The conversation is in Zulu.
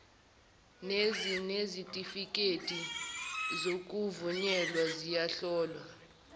nezinezitifikedi zokuvunyelwa ziyahlolwa